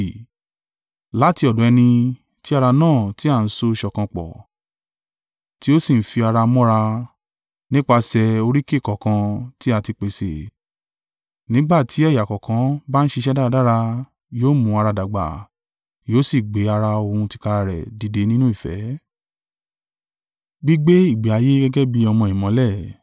Láti ọ̀dọ̀ ẹni ti ara náà tí a ń so ṣọ̀kan pọ̀, tí ó sì ń fi ara mọ́ra, nípasẹ̀ oríkèé kọ̀ọ̀kan tí a ti pèsè, nígbà tí ẹ̀yà kọ̀ọ̀kan bá ń ṣiṣẹ́ dáradára, yóò mú ara dàgbà, yóò sì gbé ara òun tìkára rẹ̀ dìde nínú ìfẹ́.